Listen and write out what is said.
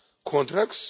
hour contracts